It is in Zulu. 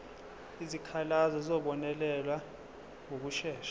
izikhalazo zizobonelelwa ngokushesha